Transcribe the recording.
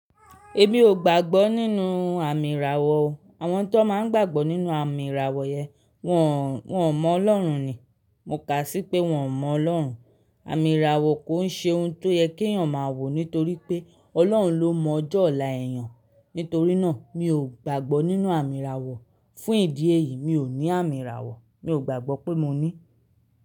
Èmi ò gbàgbọ́ nínú àmì ìràwọ̀ o. Àwọn tí wọ́n máa ń gbàgbọ́ nínú àmì ìràwọ̀ yẹn, wọ́n, wọ́n mọ Ọlọ́run ni. Mo kà á sí pé wọ́n mọ Ọlọ́run. Àmì ìràwọ̀ kò ń ṣe ohun tó yẹ kí èèyàn máa wò nítorí pé Ọlọ́run ló mọ ọjọ́ ọ̀la èèyàn. Nítorí náà, mi ò gbàgbọ́ nínú àmì ìràwọ̀. Fún ìdí èyí mi ò ní àmì ìràwọ̀, mi ò gbàgbọ́ pé mo ní.